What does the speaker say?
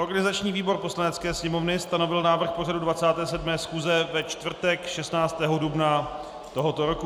Organizační výbor Poslanecké sněmovny stanovil návrh pořadu 27. schůze ve čtvrtek 16. dubna tohoto roku.